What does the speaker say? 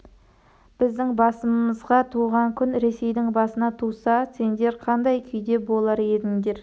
біздің басымызға туған күн ресейдің басына туса сендер қандай күйде болар едіңдер